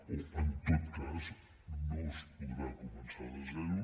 o en tot cas no es podrà començar de zero